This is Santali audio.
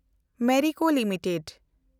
Merico limited